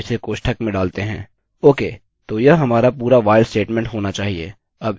okay तो यह हमारा पूरा while स्टेटमेंट होना चाहिए